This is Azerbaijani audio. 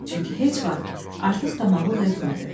Çünki heç vaxt artıq tamağlıq etmədi.